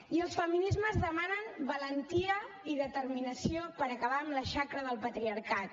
i els feminismes demanen valentia i determinació per acabar amb la xacra del patriarcat